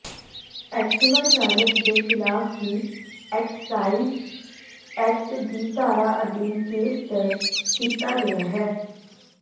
Activa ਚਾਲਕ ਦੇ ਖ਼ਿਲਾਫ਼ ਵੀ ਐਕਸਾਈਜ ਐਕਟ ਦੀ ਧਾਰਾ ਅਧੀਨ ਕੇਸ ਦਰਜ ਕੀਤਾ ਗਿਆ ਹੈ